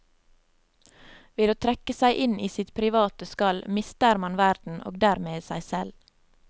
Ved å trekke seg inn i sitt private skall mister man verden, og dermed seg selv.